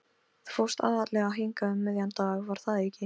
Þú fórst aðallega hingað um miðjan dag, var það ekki?